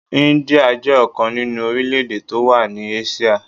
India jẹ́ ọ̀kan nínú orílè-èdè tó wà ní Áṣíà.